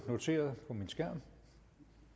noteret på min skærm